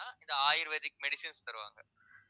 இது ayurvedic medicines தருவாங்க